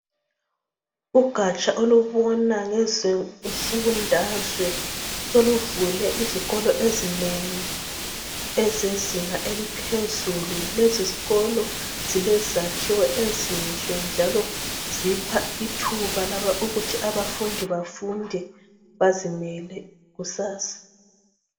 Ugatsha olubona ngeze mfundazwe soluvule izikolo ezinengi ezezinga eliphezulu lezi zikolo zilezakhiwo ezinhle njalo zipha ithuba laba ukuthi abafundi bafunde bazimele kusasa.